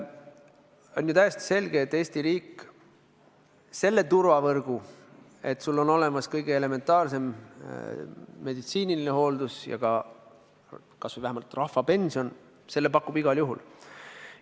On ju täiesti selge, et Eesti riik selle turvavõrgu, et sulle on tagatud kõige elementaarsem meditsiiniline abi ja kas või vähemalt rahvapension, pakub igal juhul.